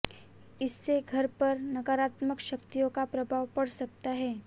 इससे घर पर नकारात्मक शक्तियों का प्रभाव पड़ सकता है